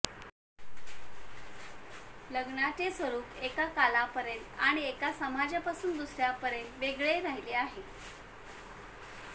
लग्नाचे स्वरूप एका कालापर्यंत आणि एका समाजापासून दुसऱ्यापर्यंत वेगळे राहिले आहे